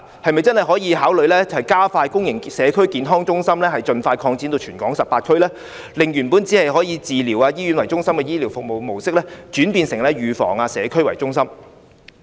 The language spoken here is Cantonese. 是否真的可以考慮加快擴展公營地區康健中心至全港18區，令原本以"治療"、"醫院"為中心的醫療服務模式轉變成"預防"、"社區"為中心呢？